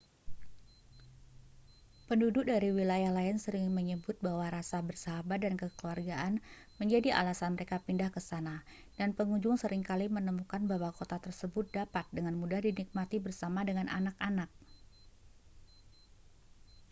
penduduk dari wilayah lain sering menyebut bahwa rasa bersahabat dan kekeluargaan menjadi alasan mereka pindah ke sana dan pengunjung seringkali menemukan bahwa kota tersebut dapat dengan mudah dinikmati bersama dengan anak-anak